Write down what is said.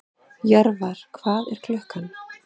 Jörvar, hvað er klukkan?